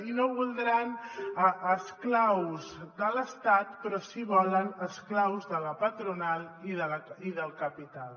i no deuen voler esclaus de l’estat però sí que volen esclaus de la patronal i del capital